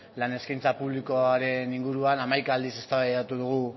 lan eskaintza publikoaren inguruan hamaika aldiz eztabaidatu dugu